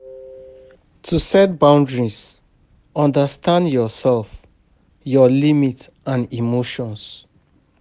To set boundries, understand your self, your limits and emotions